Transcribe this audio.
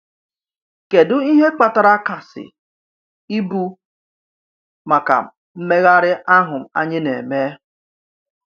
Kèdụ ihe kpatara kàsị ibu maka mmegharị ahụ anyị na-eme?